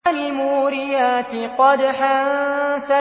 فَالْمُورِيَاتِ قَدْحًا